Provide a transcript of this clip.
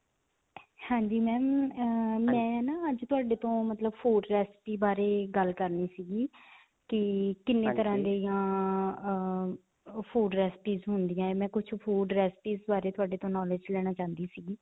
ਹਾਂਜੀ ma'am ਅਅ ਮੈਂ ਨਾ ਅੱਜ ਤੁਹਾਡੇ ਤੋਂ ਮਤਲਬ food recipe ਬਾਰੇ ਗੱਲ ਕਰਨੀ ਸਿਗੀ ਕਿ ਕਿੰਨੇ ਤਰ੍ਹਾਂ ਦੀਆਂ ਅਅ food recipes ਹੁੰਦੀਆਂ. ਮੈਂ ਕੁਝ food recipes ਬਾਰੇ ਤੁਹਾਡੇ ਤੋਂ knowledge ਲੈਣਾ ਚਾਹੁੰਦੀ ਸੀ I